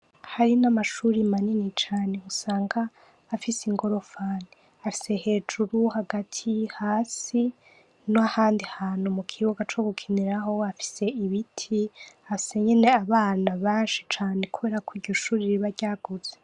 Hari n’amashure manini cane usanga afise ingorofani afise hejuru, hagati, hasi nahandi hantu mukibuga co gukiniraho afise ibiti afise nyene abana benshi cane kubera ko iryo shure riba ryagutse.